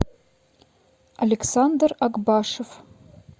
александр акбашев